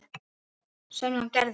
Sem hann og gerði.